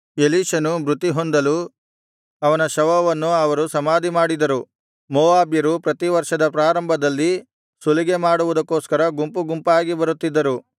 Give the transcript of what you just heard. ಎಲೀಷನು ಮೃತಿ ಹೊಂದಲು ಅವನ ಶವವನ್ನು ಅವರು ಸಮಾಧಿಮಾಡಿದರು ಮೋವಾಬ್ಯರು ಪ್ರತಿ ವರ್ಷದ ಪ್ರಾರಂಭದಲ್ಲಿ ಸುಲಿಗೆ ಮಾಡುವುದಕ್ಕೋಸ್ಕರ ಗುಂಪು ಗುಂಪಾಗಿ ಬರುತ್ತಿದ್ದರು